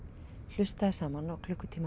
hlustaði saman á klukkutíma